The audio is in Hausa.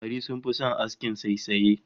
Samari sun fi son askin saisaye